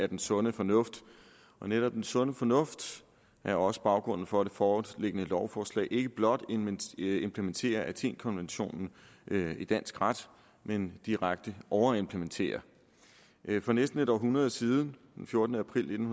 den sunde fornuft og netop den sunde fornuft er også baggrunden for det foreliggende lovforslag man ikke blot implementerer athenkonventionen i dansk ret man direkte overimplementerer for næsten et århundrede siden den fjortende april nitten